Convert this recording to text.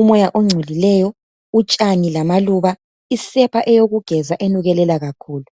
umoya ogcolileyo utshani isepa yokugeza enukelela kakhulu